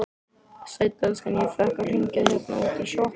Sæll elskan, ég fékk að hringja hérna útí sjoppu.